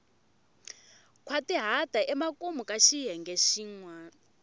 nkhwatihata emakumu ka xiyenge xin